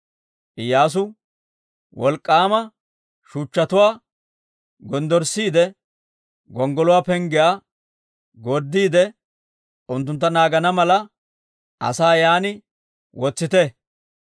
Iyyaasu, «Wolk'k'aama shuchchatuwaa gonddorssiide, gonggoluwaa penggiyaa gorddiide unttuntta naagana mala, asaa yaan wotsite.